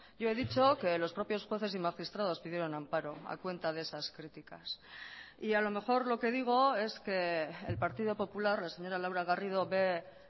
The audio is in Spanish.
yo he dicho que los propios jueces y magistrados pidieron amparo a cuenta de esas críticas y a lo mejor lo que digo es que el partido popular la señora laura garrido ve